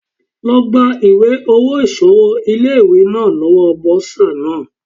Lọ gba ìwé owó ìsanwó ilé ìwé náà lọ́wọ́ Bọ́sà náà.